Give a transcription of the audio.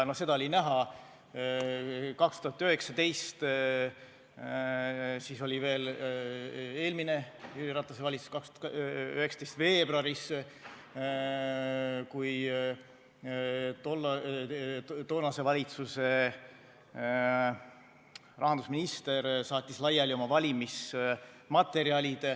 No seda oli näha 2019 veebuaris – siis oli veel eelmine Jüri Ratase valitsus –, kui toonase valitsuse rahandusminister saatis laiali oma valimismaterjalid.